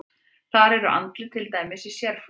Þar eru andlit til dæmis í sérflokki.